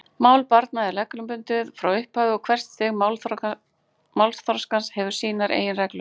Mál barna er reglubundið frá upphafi og hvert stig málþroskans hefur sínar eigin reglur.